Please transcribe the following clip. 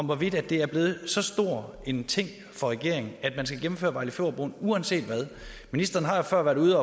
hvorvidt det er blevet så stor en ting for regeringen at man skal gennemføre vejle fjord broen uanset hvad ministeren har jo før været ude